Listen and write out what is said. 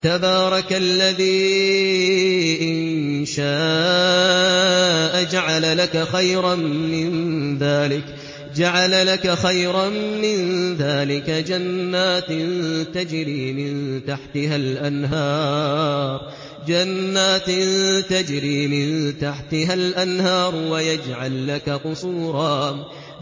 تَبَارَكَ الَّذِي إِن شَاءَ جَعَلَ لَكَ خَيْرًا مِّن ذَٰلِكَ جَنَّاتٍ تَجْرِي مِن تَحْتِهَا الْأَنْهَارُ وَيَجْعَل لَّكَ قُصُورًا